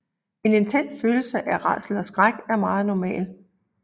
En intens følelse af rædsel og skræk er meget normal